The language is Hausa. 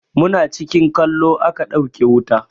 Muna cikin kallo a ka ɗauke wuta.